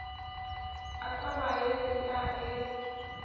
a tsamaye le a e